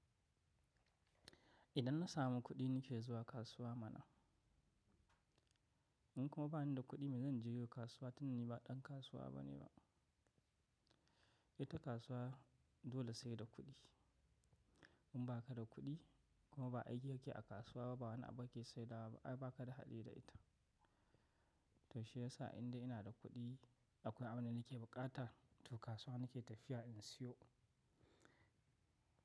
Idan na samu kuɗi nake zuwa kasuwa mana. In kuma bani da kuɗi, me zan je yi a kasuwa? To ni ba ɗan kasuwa bane ba. Ita kasuwa dole sai da kuɗi. In ba ka da kuɗi kuma ba aiki ka ke a kasuwa ba, ba wani abu ba ke sai da wa ba ai ba kada haɗi da ita. To shiyasa indai ina da kuɗi akwai abun da nake bukata, to kasuwa nake tafiya in siyo.